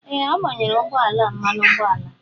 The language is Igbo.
Ee agbayere ụgbọ ala a mmanụ ụgbọala.